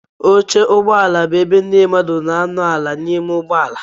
Oche ụgbọala bụ ebe ndị mmadụ na anọ ala n'ime ụgbọala.